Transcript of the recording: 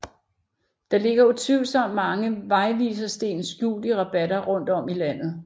Der ligger utvivlsomt mange vejvisersten skjult i rabatter rundt om i landet